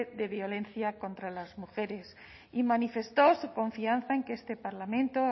de violencia contra las mujeres y manifestó su confianza en que este parlamento